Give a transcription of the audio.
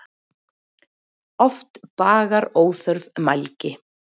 Oft bagar óþörf mælgi.